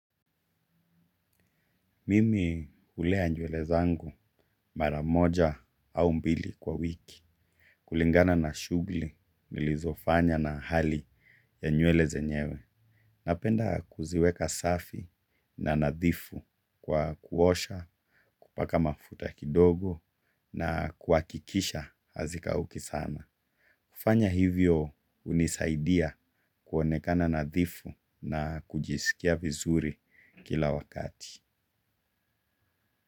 Mimi ulea nyuele zangu mara moja au mbili kwa wiki. Kulingana na shugli nilizo fanya na hali ya nyuele zenyewe. Napenda kuziweka safi na nadhifu kwa kuosha, kupaka mafuta kidogo na kuakikisha hazikauki sana. Kufanya hivyo unisaidia kuonekana nadhifu na kujisikia vizuri kila wakati.